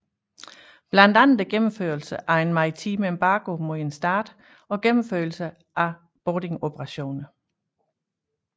Blandt andet gennemførelsen af en maritim embargo mod en stat og gennemførelse af boardingoperationer